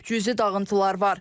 Cüzi dağıntılar var.